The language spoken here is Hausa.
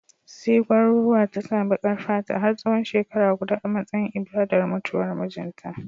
Sai gwauruwar ta sa baƙar fata har tsawon shekara guda a matsayin ibadar mutuwar mijinta